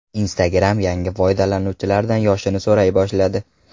Instagram yangi foydalanuvchilardan yoshini so‘ray boshladi.